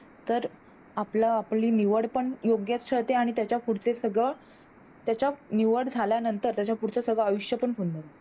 तर अपलं आपली निवड पण योग्यच ठरते आणि त्याच्या पुढच सगळ त्याच्या निवड झाल्यानंतर त्याच्या पुढच सगळ आयुष्य पण